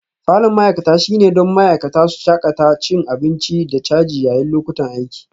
Falon ma'aikata shine don ma'aikata su shakata cin abinci da caji yayin lokutan aiki